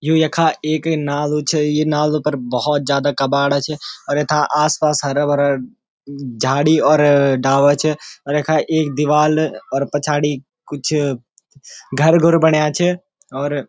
यु यखा एक नालू छ यि नालू पर भौत जादा कबाड़ा छ अर यथा आस पास हरा भरा झाड़ी और डाला छ और यखा एक दिवाल और पछाड़ी कुछ घर घुर बण्या छ और --